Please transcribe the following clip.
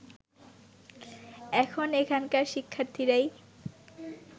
এখন এখানকার শিক্ষার্থীরাই